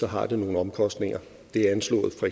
har nogle omkostninger det er anslået for